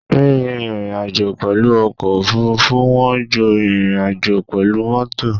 Rírìn ìrìnàjò pẹ̀lú ọkọ̀ òfurufú wọ́n ju ìrìnàjò pẹ̀lú mọ́tò.